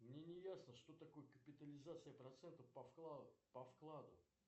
мне не ясно что такое капитализация процента по вкладу